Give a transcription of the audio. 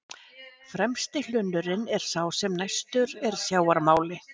Fremsti hlunnurinn er sá sem næstur er sjávarmáli.